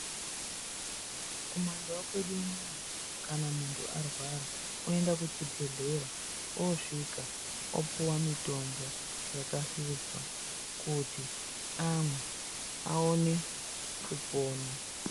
Kumandau kwedu unono kana muntu arwara kuenda kuchibhedhera osvika opuwe mutombo yakahluzwa kuti amwe aone kupona.